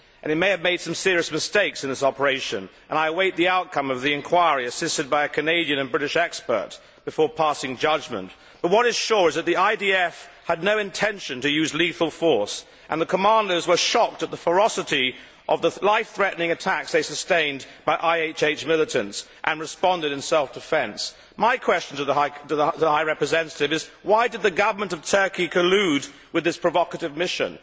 It may have made some serious mistakes in this operation, and I await the outcome of the inquiry assisted by a Canadian and British expert before passing judgment, but what is sure is that the IDF had no intention to use lethal force, and the commandos were shocked at the ferocity of the life threatening attacks they sustained by IHH militants and responded in self defence. My question to the High Representative is, why did the government of Turkey collude with this provocative mission?